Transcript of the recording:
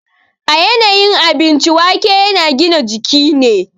A yanayin abinci, waƙe yana gina jiki ne.